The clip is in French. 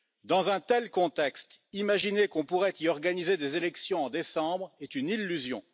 Dans un tel contexte, imaginer qu'on pourrait y organiser des élections en décembre est une illusion.